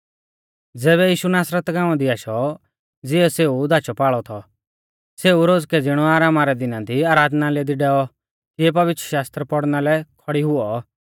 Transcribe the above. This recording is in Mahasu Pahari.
ज़ैबै यीशु नासरत गाँवा दी आशौ ज़िऐ सेऊ धाचौपाल़ौ थौ सेऊ रोज़कै ज़िणौ आरामा रै दिना दी आराधनालय दी डैऔ तिऐ धौर्म शास्त्र पौड़ना लै खौड़ी हुऔ